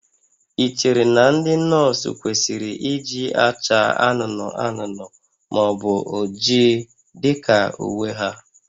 Ị chere na ndị nọọsụ kwesịrị iji acha anụnụ anụnụ ma ọ bụ oji dị ka uwe ha?